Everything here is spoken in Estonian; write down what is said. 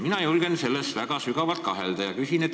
Mina julgen selles väga sügavalt kahelda.